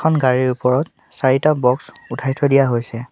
এখন গাড়ীৰ ওপৰত চাৰিটা বক্স উঠাই থৈ দিয়া হৈছে।